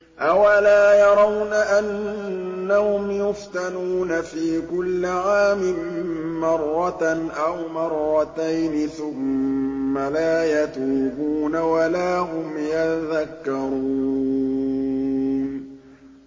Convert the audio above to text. أَوَلَا يَرَوْنَ أَنَّهُمْ يُفْتَنُونَ فِي كُلِّ عَامٍ مَّرَّةً أَوْ مَرَّتَيْنِ ثُمَّ لَا يَتُوبُونَ وَلَا هُمْ يَذَّكَّرُونَ